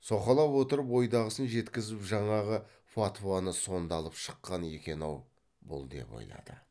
соқалап отырып ойдағысын жеткізіп жаңағы фатуаны сонда алып шыққан екен ау бұл деп ойлады